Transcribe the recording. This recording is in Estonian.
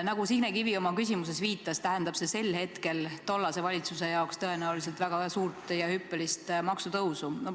Nagu Signe Kivi oma küsimuses viitas, see tähendab tulevase valitsuse jaoks tõenäoliselt hüppelist maksutõusu.